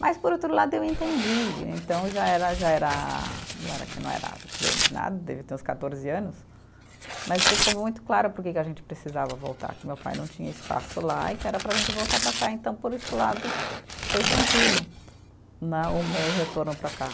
Mas, por outro lado, eu entendi, então já era, já era, não era que não era, grande nada, eu devia ter uns quatorze anos, mas ficou muito claro porque que a gente precisava voltar, que meu pai não tinha espaço lá e que era para a gente voltar para cá, então, por esse lado, foi tranquilo né, o meu retorno para cá.